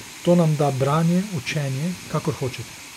To nam da branje, učenje, kakor hočete.